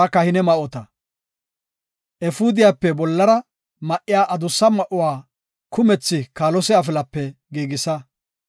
“Efuudiyape bollara ma7iya adussa ma7uwa kumethi kaalose afilape giigisa.